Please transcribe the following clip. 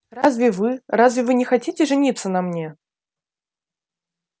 разве вы разве вы не хотите жениться на мне